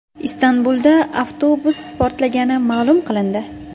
Istanbulda avtobus portlagani ma’lum qilindi.